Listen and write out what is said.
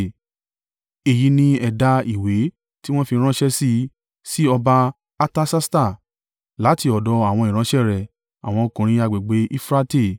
(Èyí ni ẹ̀dà ìwé tí wọ́n fi ránṣẹ́ sí i.) Sí ọba Artasasta, láti ọ̀dọ̀ àwọn ìránṣẹ́ rẹ̀, àwọn ọkùnrin agbègbè Eufurate.